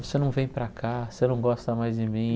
Você não vem para cá, você não gosta mais de mim.